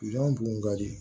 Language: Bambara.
Zonzan bugun ka di